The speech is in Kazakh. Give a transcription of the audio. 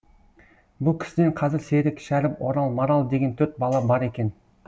бұл кісіден қазір серік шәріп орал марал деген төрт бала бар екен